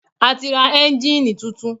A ti ra ẹ́ńjínnìì tuntun.